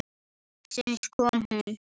Loksins kom hún.